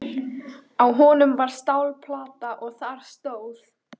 Á honum var stálplata og þar stóð: